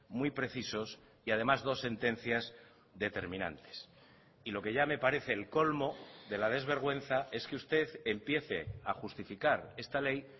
muy precisos y además dos sentencias determinantes y lo que ya me parece el colmo de la desvergüenza es que usted empiece a justificar esta ley